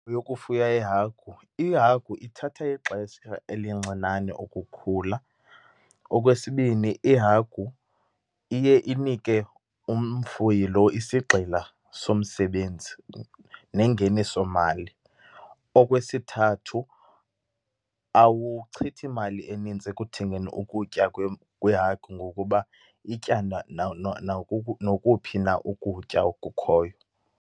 Yokufuya iihagu. Ihagu ithatha ixesha elincinane ukukhula. Okwesibini, ihagu iye inike umfuyi lo isigxila somsebenzi nengenisomali. Okwesithathu, awuchithi mali enintsi ekuthengeni ukutya kweehagu ngokuba itya nokuphi na ukutya okukhoyo.